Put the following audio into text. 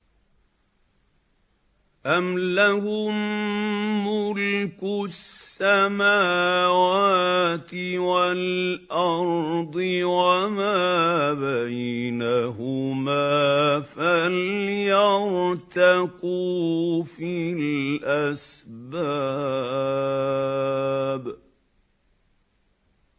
أَمْ لَهُم مُّلْكُ السَّمَاوَاتِ وَالْأَرْضِ وَمَا بَيْنَهُمَا ۖ فَلْيَرْتَقُوا فِي الْأَسْبَابِ